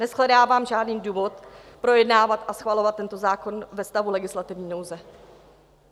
Neshledávám žádný důvod projednávat a schvalovat tento zákon ve stavu legislativní nouze.